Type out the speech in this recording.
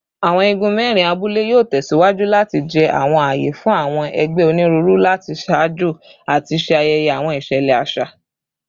Awọn igun mẹrin abule yoo tẹsiwaju lati jẹ awọn aaye fun awọn ẹgbẹ oniruuru lati ṣajọ ati ṣe ayẹyẹ awọn iṣẹlẹ aṣa